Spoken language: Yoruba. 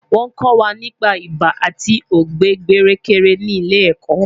Wọ́n kọ́ wa nípa ibà àti ọ̀gbẹ̀ẹ̀gbẹ̀rẹ̀kẹ̀rẹ̀ ní ilé ẹ̀kọ́